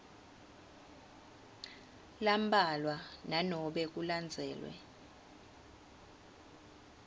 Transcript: lambalwa nanobe kulandzelwe